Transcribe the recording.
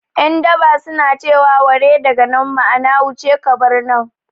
Yan daba su na ce wa 'ware daga nan' ma'ana wuce ka bar nan